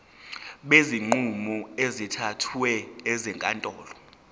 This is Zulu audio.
kwezinqumo ezithathwe ezinkantolo